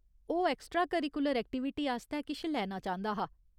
ओह् extra curricular activity आस्तै किश लैना चांह्दा हा।